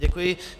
Děkuji.